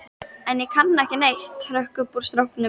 En ég kann ekki neitt, hrökk upp úr stráknum.